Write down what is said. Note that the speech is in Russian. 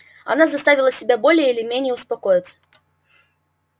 она заставила себя более или менее успокоиться